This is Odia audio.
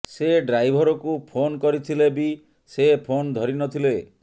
ସେ ଡ୍ରାଇଭରକୁ ଫୋନ କରିଥିଲେ ବି ସେ ଫୋନ ଧରି ନଥିଲେ